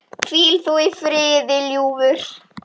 Hvíl þú í friði, ljúfur.